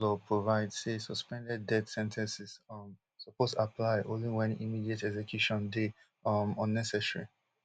di criminal law provide say suspended death sen ten ces um suppose apply only wen immediate execution dey um unnecessary